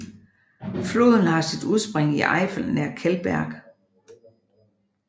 Floden har sit udspring i Eifel nær Kelberg